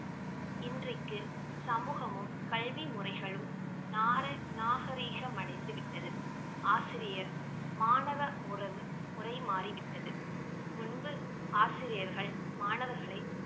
இன்றைக்கு சமூகமும் கல்வி முறைகளும் நார~ நாகரீகம் அடைந்து விட்டது ஆசிரியர் மாணவ உறவு~ முரை மாறிவிட்டது முன்பு ஆசிரியர்கள் மாணவர்களை